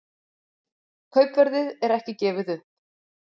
Kaupverðið er ekki gefið upp